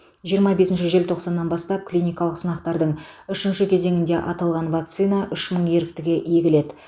жиырма бесінші желтоқсаннан бастап клиникалық сынақтардың үшінші кезеңінде аталған вакцина үш мың еріктіге егіледі